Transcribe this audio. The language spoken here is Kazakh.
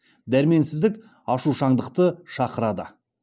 дәрменсіздік ашушаңдықты шақырады